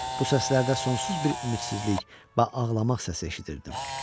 Bu səslərdə sonsuz bir ümidsizlik və ağlamaq səsi eşidirdim.